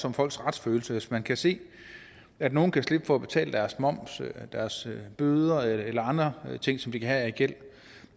om folks retsfølelse hvis man kan se at nogle kan slippe for at betale deres moms deres bøder eller andre ting som de kan have af gæld